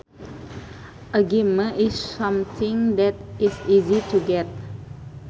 A gimme is something that is easy to get